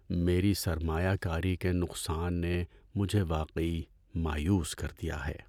میری سرمایہ کاری کے نقصان نے مجھے واقعی مایوس کر دیا ہے۔